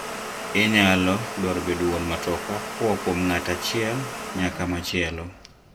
Inayalo daro bedo wuon matoka koaa kuom ng'at achiel nyaka machielo.